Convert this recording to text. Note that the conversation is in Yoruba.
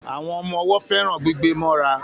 Àwọn ọmọ owó féràn gbígbé móra